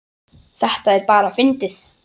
Þetta er bara fyndið.